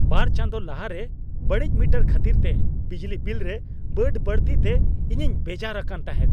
ᱵᱟᱨ ᱪᱟᱸᱫᱳ ᱞᱟᱦᱟᱨᱮ ᱵᱟᱹᱲᱤᱡ ᱢᱤᱴᱟᱨ ᱠᱷᱟᱹᱛᱤᱨ ᱛᱮ ᱵᱤᱡᱽᱞᱤ ᱵᱤᱞ ᱨᱮ ᱵᱟᱹᱰᱼᱵᱟᱹᱲᱛᱤ ᱛᱮ ᱤᱧᱤᱧ ᱵᱮᱡᱟᱨ ᱟᱠᱟᱱ ᱛᱟᱦᱮᱸᱜ ᱾